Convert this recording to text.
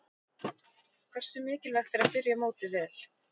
Hversu mikilvægt er að byrja mótið vel?